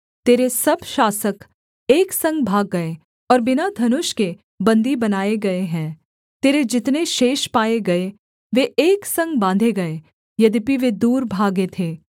तेरे सब शासक एक संग भाग गए और बिना धनुष के बन्दी बनाए गए हैं तेरे जितने शेष पाए गए वे एक संग बाँधे गए यद्यपि वे दूर भागे थे